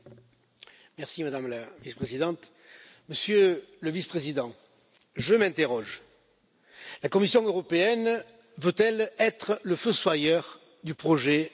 Madame la Présidente, Monsieur le Vice président, je m'interroge la Commission européenne veut elle être le fossoyeur du projet européen?